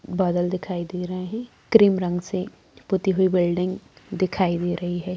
बादल दिखाई दे रहे है क्रीम रंग से पुती हुई बिल्डिंग दिखाई दे रही है।